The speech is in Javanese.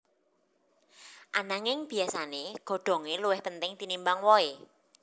Ananging biyasané godhongé luwih penting tinimbang wohé